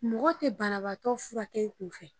Mɔgɔ te banabaatɔ furakɛ i kun fɛ